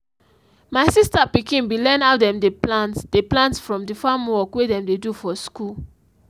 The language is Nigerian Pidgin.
my sister pikin be learn how dem dey plant dey plant from the farm work wey dem dey do for school.